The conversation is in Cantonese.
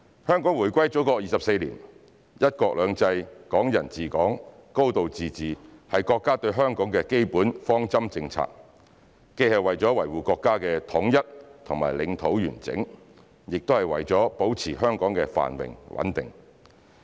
香港回歸祖國24年，"一國兩制"、"港人治港"、"高度自治"是國家對香港的基本方針政策，既是為了維護國家的統一和領土完整，也是為了保持香港的繁榮穩定。